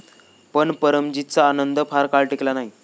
पण परमजितचा आनंद फार काळ टिकला नाही.